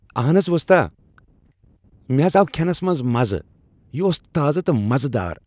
آہنز، وستا، مےٚ ہز آو کھٮ۪نس از مزٕ۔ یہ اوس تازٕ تہٕ مزٕ دار۔